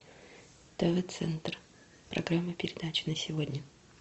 тв центр программа передач на сегодня